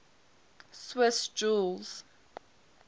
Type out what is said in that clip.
swiss jews